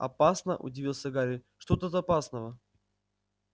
опасно удивился гарри что тут опасного